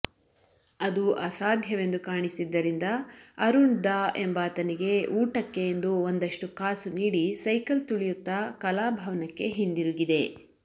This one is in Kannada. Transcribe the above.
ಅದು ಅಸಾಧ್ಯವೆಂದು ಕಾಣಿಸಿದ್ದರಿಂದ ಅರುಣ್ ದಾ ಎಂಬಾತನಿಗೆ ಊಟಕ್ಕೆ ಎಂದು ಒಂದಷ್ಟು ಕಾಸು ನೀಡಿ ಸೈಕಲ್ ತುಳಿಯುತ್ತ ಕಲಾಭಾವನಕ್ಕೆ ಹಿಂದಿರುಗಿದೆ